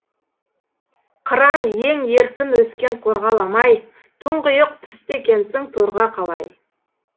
қыран ең еркін өскен қорғаламай тұңғиық түсті екенсің торға қалай